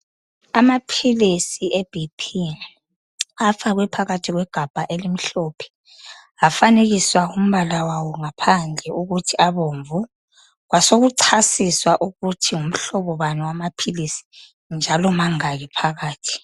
Amaphilisi e BP afakwe phakathi kwegabha elimhlophe afanekiswa umbala wawo ngaphandle ukuthi abomvu kwasekuchasiswa ukuthingumhlobo bani wamaphilisi